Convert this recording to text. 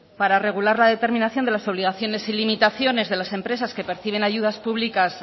para regular la determinación de las obligaciones y limitaciones de las empresas que perciben ayudas públicas